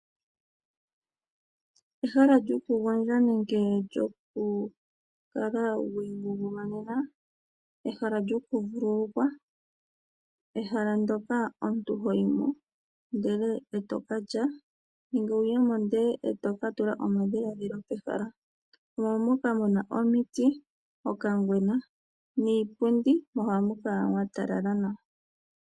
Ehala lyokugondja nenge lyokukala wiingungumanena. Ehala lyokuvululukwa. Ehala ndyoka omuntu ho yi mo ndele e to ka lya, nenge wu ye mo ndele e to ka tula omadhiladhilo pehala. Omo moka mu na omiti, okangwena niipundi, mo ohamu kala mwa talala nawa.